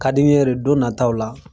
Ka di n yere don nataw la